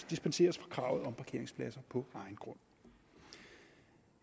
dispenseres fra kravet om parkeringspladser på egen grund